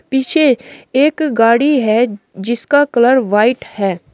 पीछे एक गाड़ी है जिसका कलर व्हाइट है।